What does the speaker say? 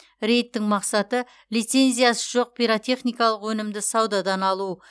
рейдтің мақсаты лицензиясы жоқ пиротехникалық өнімді саудадан алу